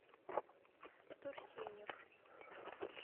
турсенев